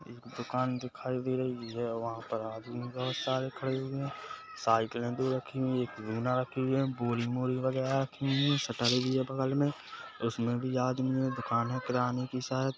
एक दुकान दिखाई दे रही है वहाँ पर आदमी बहोत सारे खड़े हुए है साइकिले रखी है एक लुना रखी हुई है बोरी वॉरि वगेरा रखी हुए है शटर भी है बगल मे उसमे भी आदमी है दुकान है किराने की शायद।